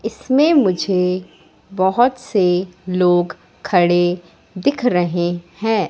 इसमें मुझे बहोत से लोग खड़े दिख रहें हैं।